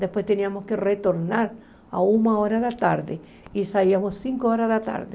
Depois, tínhamos que retornar a uma hora da tarde e saíamos cinco horas da tarde.